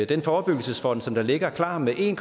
den forebyggelsesfond som ligger klar med en